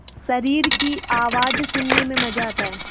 शरीर की आवाज़ सुनने में मज़ा आता है